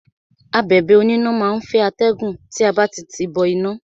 Abẹ̀bẹ̀ oníná má á ń fẹ́ atẹ́gùn tí a bá ti tìí bọ iná.